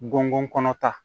Gɔngɔn kɔnɔ ta